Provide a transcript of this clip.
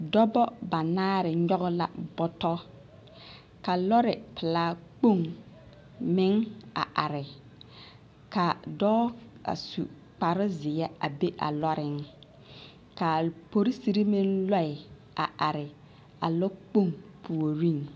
Dɔba banaare nyɔge la bɔtɔ ka lɔre pelaa kpoŋ meŋ a are ka dɔɔ a su kparezeɛ a be a lɔreŋ k,a Polisiri meŋ lɔɛ a are a lɔɔkpoŋ puoriŋ.